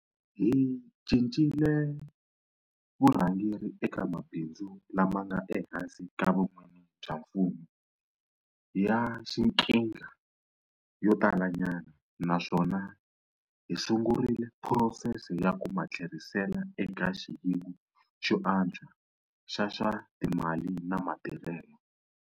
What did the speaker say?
Hi cincile vurhangeri eka mabindzu lama nga ehansi ka vun'wini bya mfumo ya xiqhinga yo talanyana, naswona hi sungurile phurosese ya ku ma tlherisela eka xiyimo xo antswa xa swa timali na matirhelo.